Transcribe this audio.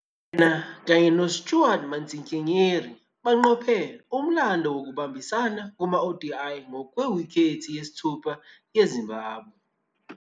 Yena kanye no-Stuart Matsikenyeri baqophe umlando wokubambisana kuma-ODI ngewikhethi yesithupha ye-Zimbabwe.